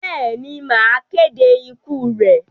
Bẹ́ẹ̀ ni, màá kéde ikú rẹ̀.